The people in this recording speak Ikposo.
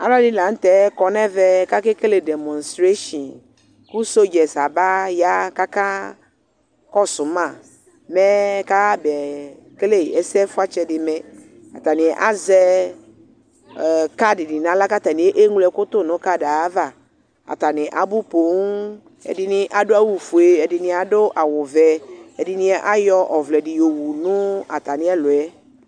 Alu ɛdini lanu tɛ kɔnʋ ɛvɛ, kʋ akekele demonstrationkʋ sɔdza yɛ tu aba ya kʋ ɔkakɔsʋma mɛ kafab'ekele ɛsɛ fuatsɛ di mɛatani azɛ ɛɛɛ kad dini nʋ aɣla , kʋ akeɣlo ɔwɔ tu nu kad yɛ'avaatani abu poooŋɛdini adu awufue , ɛdini adʋ awu vɛɛdini ayɔ ɔvlɛ dini yɔwu nʋ atami ɛlʋ yɛ